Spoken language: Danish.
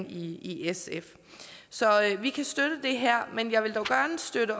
i sf så vi kan støtte det her men jeg vil dog gerne støtte